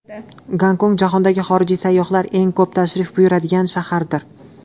Gonkong jahondagi xorijiy sayyohlar eng ko‘p tashrif buyuradigan shahardir.